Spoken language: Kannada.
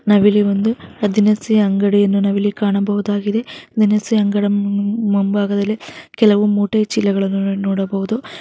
ನಾವಿಲ್ಲಿ ಒಂದು ದಿನಸಿ ಅಂಗಡಿಯನ್ನು ಇಲ್ಲಿ ಕಾಣಬಹುದಾಗಿದೆ ದಿನಸಿ ಅಂಗಡಿಯ ಮುಂಬಾಗದಲ್ಲಿ ಕೆಲವು ಮೂಟೆಯ ಚೀಲ ಗಳನ್ನೂ ನಾವು ನೋಡಬಹುದು.